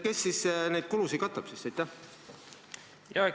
Kes neid kulusid katab siis?